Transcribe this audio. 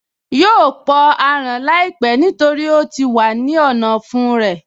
Yóò pọ aràn láìpẹ́ nítorí ó ti wà ní ọ̀nà ọ̀fun rẹ̀